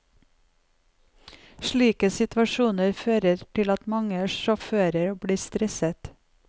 Slike situasjoner fører til at mange sjåfører blir stresset.